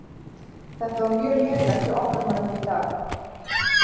Þetta var mjög lélegt hjá okkar mönnum í dag.